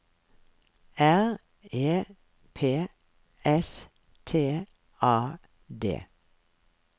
R E P S T A D